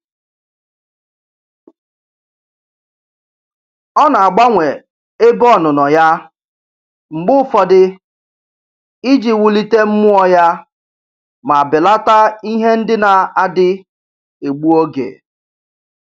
Ọ na-agbanwe ebe ọnụnọ ya mgbe ụfọdụ iji wulite mmụọ ya ma belata ihe ndị na-adị egbu oge.